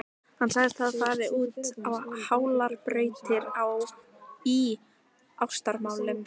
Hann segist hafa farið út á hálar brautir í ástamálum.